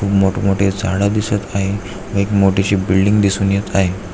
मोठ मोठे झाड दिसून येत आहे एक मोठीशी बिल्डिंग दिसून येत आहे.